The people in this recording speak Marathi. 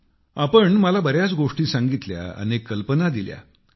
तुम्ही मला बर्याच गोष्टी सांगितल्या अनेक कल्पना दिल्या